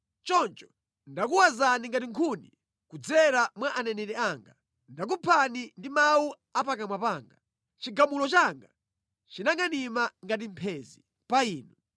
Choncho ndakuwazani ngati nkhuni kudzera mwa aneneri anga, ndakuphani ndi mawu a pakamwa panga; chigamulo changa chinangʼanima ngati mphenzi pa inu.